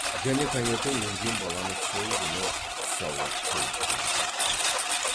және таңертең өлген баланы сол күні түс ауа қойып та бітіріпті